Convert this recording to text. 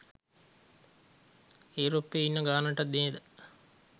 ඒරොප්පේ ඉන්න ගානට නේද